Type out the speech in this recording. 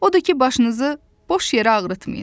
Odur ki, başınızı boş yerə ağrıtmayın.